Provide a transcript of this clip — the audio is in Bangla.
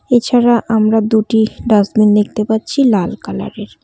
এছাড়া আমরা দুটি ডাস্টবিন দেখতে পাচ্ছি লাল কালার -এর।